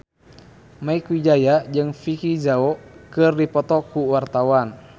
Mieke Wijaya jeung Vicki Zao keur dipoto ku wartawan